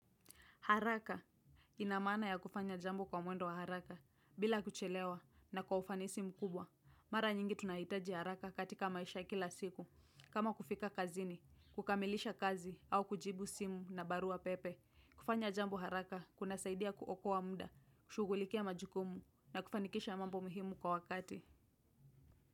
Haraka. Ina maana ya kufanya jambo kwa mwendo wa haraka, bila kuchelewa na kwa ufanisi mkubwa. Mara nyingi tunahitaji haraka katika maisha ya kila siku. Kama kufika kazini, kukamilisha kazi au kujibu simu na barua pepe. Kufanya jambo haraka kunasaidia kuokoa muda, kushughulikia majukumu na kufanikisha mambo muhimu kwa wakati.